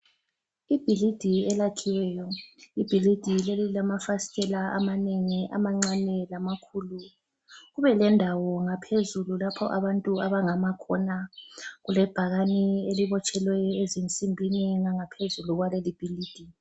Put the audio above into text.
Ibhilidi elakhiweyo ibhilidi leli lilamafasitela amanengi amancane lamakhulu, kube lendawo ngaphezulu lapho abantu abangama khona. Kulebhakane elibotshelwe ezinsimbini ngangaphezuli kwaleli bhilidi.